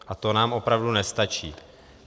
A to nám opravdu nestačí.